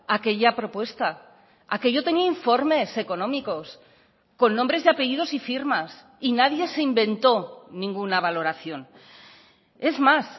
aquella propuesta aquello tenía informes económicos con nombres y apellidos y firmas y nadie se inventó ninguna valoración es más